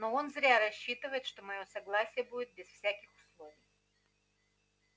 но он зря рассчитывает что моё согласие будет без всяких условий